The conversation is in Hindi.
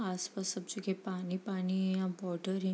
आस-पास सब जगह पानी ही पानी है यहाँ वॉटर ही --